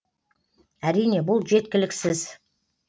әрине бұл жеткіліксіз